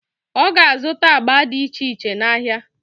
Ọ ga-azụta agba dị iche iche n'ahịa.